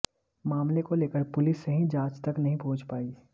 मामले को लेकर पुलिस सही जांच तक नहीं पहुंच पाई